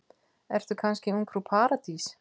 Ertu kannski ungfrú Paradís?